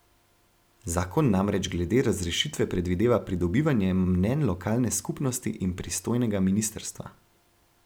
Zakon namreč glede razrešitve predvideva pridobivanje mnenj lokalne skupnosti in pristojnega ministrstva.